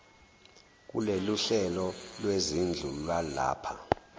kuloluhlelo lwezindlu lwalapha